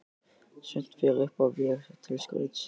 Sumt fer upp á vegg til skrauts.